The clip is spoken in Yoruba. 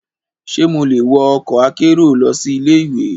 Ṣe mo le wọ ọkọ akero lọsi ile-iwe?